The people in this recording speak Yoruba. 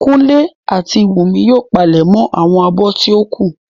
Kúnlé àti Wùnmí yóò palẹ̀mọ́ àwọn abọ́ tí ó kù